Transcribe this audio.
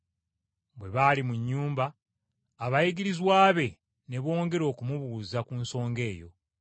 Bwe baali mu nnyumba, abayigirizwa be, ne bongera okumubuuza ku nsonga eyo.